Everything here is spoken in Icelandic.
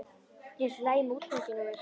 Er allt í lagi með útganginn á mér?